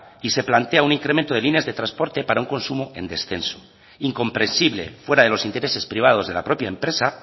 y se plantea un incremento de líneas de transporte para un consumo en descenso incomprensible fuera de los intereses privados de la propia empresa